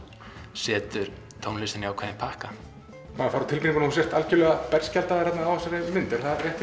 setur tónlistina í ákveðin pakka maður fær á tilfinninguna að þú sért algjörlega berskjaldaður á þessari mynd